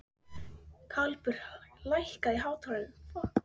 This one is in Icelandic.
Garpur, lækkaðu í hátalaranum.